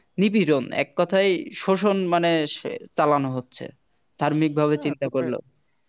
নিপীড়ন এক কথায় শোষণ মানে চালানো হচ্ছে ধার্মিক ভাবে চিন্তা করলে